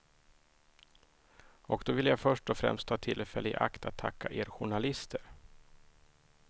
Och då vill jag först och främst ta tillfället i akt att tacka er journalister.